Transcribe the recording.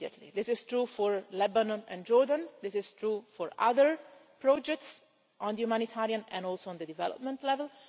This is true for Lebanon and Jordan and is true for other projects on the humanitarian, and also on the development, level.